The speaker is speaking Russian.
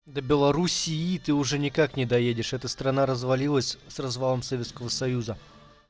до белоруссии ты уже никак не доедешь это страна развалилась с развалом советского союза